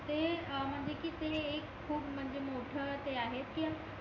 ते म्हणजे कि ते एक खूप म्हणजे मोठा ते आहे कि